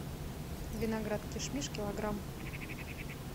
виноград кишмиш килограмм